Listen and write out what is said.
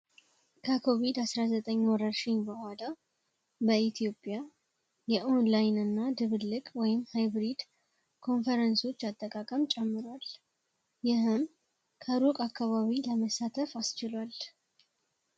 ከኮቪድ- 19 ወረርሽኝ በኋላ በኢትዮጵያ የኦንላይን እና ድብልቅ ወይም ሃይብሪድ ኮንፈረንሶች አጠቃቀም ጨምሯል ይህም ከሩቅ አካባቢ ለመሳተፍ አስችሏል።